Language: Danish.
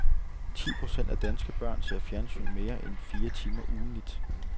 Ti procent af danske børn ser fjernsyn mere end fire timer ugentligt.